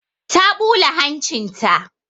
Ta ɓula hancin ta.